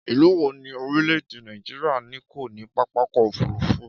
Ìlú wo ni orílẹ̀-èdè Nàìjíríà ni kò ní pápákọ̀ òfúrufú?